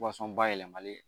bayɛlɛmalen